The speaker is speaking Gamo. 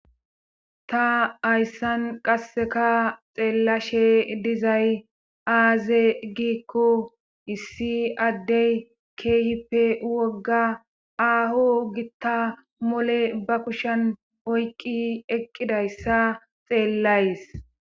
Ta hayssan qasseka xeellashe dizay aaze giikko issi addey keehippe wogga aaho gitta mole ba kushan oyqqi eqqidayssa xeellays.